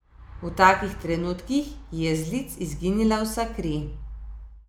V takih trenutkih ji je z lic izginila vsa kri.